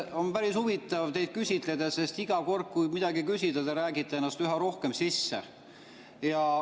On päris huvitav teid küsitleda, sest iga kord, kui midagi küsida, siis te räägite ennast üha rohkem sisse.